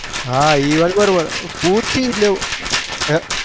હ એ વાત બરો બાર પુસીલેવું